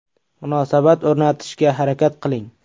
Munosabat o‘rnatishga harakat qiling.